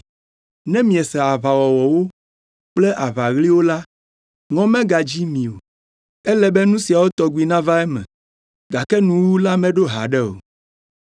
Ne miese aʋawɔwɔwo kple aʋaɣliwo la, ŋɔ megadzi mi o. Ele be nu siawo tɔgbi nava eme, gake nuwuwu la meɖo haɖe o.